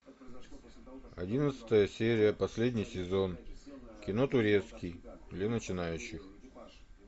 одиннадцатая серия последний сезон кино турецкий для начинающих